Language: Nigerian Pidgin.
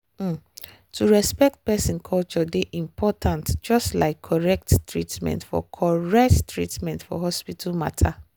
um to respect person culture dey important just like correct treatment for correct treatment for hospital matter.